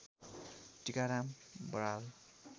Tikaram Baral